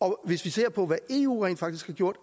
og hvis vi ser på hvad eu rent faktisk har gjort